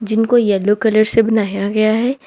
जिनको yellow colour से बनाया गया है।